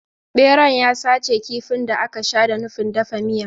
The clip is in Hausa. Beran ya sace kifin da aka sha da nufin dafa miya.